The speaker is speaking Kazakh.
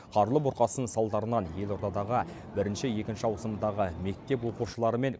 қарлы бұрқасын салдарынан елордадағы бірінші екінші ауысымдағы мектеп оқушылары мен